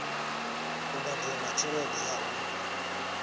u badela tshelede ya u